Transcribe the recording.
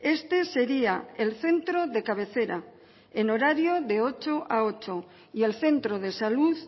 este sería el centro de cabecera en horario de ocho a ocho y el centro de salud